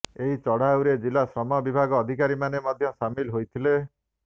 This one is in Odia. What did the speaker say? ଏହି ଚଢାଉରେ ଜିଲ୍ଳା ଶ୍ରମ ବିଭାଗ ଅଧିକାରୀମାନେ ମଧ୍ୟ ସାମିଲ ହୋଇଥିଲେ